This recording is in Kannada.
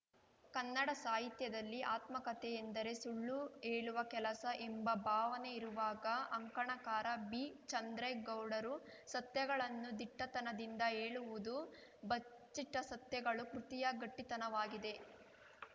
ಕನ್ನಡ ಸಾಹಿತ್ಯದಲ್ಲಿ ಆತ್ಮಕಥೆ ಎಂದರೆ ಸುಳ್ಳು ಹೇಳುವ ಕೆಲಸ ಎಂಬ ಭಾವನೆ ಇರುವಾಗ ಅಂಕಣಕಾರ ಬಿಚಂದ್ರೇಗೌಡರು ಸತ್ಯಗಳನ್ನು ದಿಟ್ಟತನದಿಂದ ಹೇಳುವುದು ಬಚ್ಚಿಟ್ಟಸತ್ಯಗಳು ಕೃತಿಯ ಗಟ್ಟಿತನವಾಗಿದೆ